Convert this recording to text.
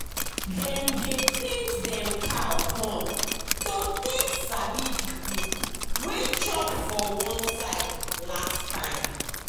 dem dey paint dem cow horn to take sabi the group wey chop for one side last time.